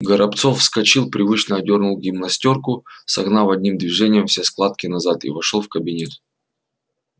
горобцов вскочил привычно одёрнул гимнастёрку согнав одним движением все складки назад и вошёл в кабинет